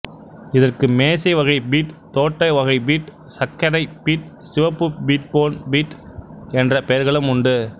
இதற்கு மேசைவகைப் பீட் தோட்டவகைப் பீட் சக்கரைப் பீட் சிவப்பு பீட் பொன் பீட் என்ற பெயர்களும் உண்டு